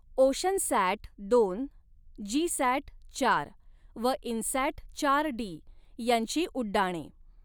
Oceansat दोन, GSAT चार व इन्सॅट चार डी यांची उड्डाणे.